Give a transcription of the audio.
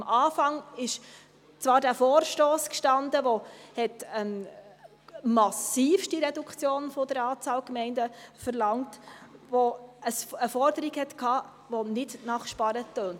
Am Anfang stand zwar dieser Vorstoss, der eine massive Reduktion der Anzahl Gemeinden verlangte und eine Forderung hatte, die nicht nach Sparen tönte.